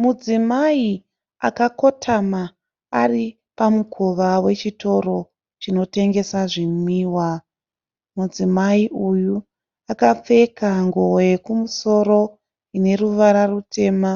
Mudzimai akakotama aripamukova wechitoro chinotengesa zvimwiwa, mudzimai uyu akapfeka nguvo yekumusoro ineruvara rutema